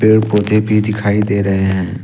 पेड़ पौधे भी दिखाई दे रहे हैं।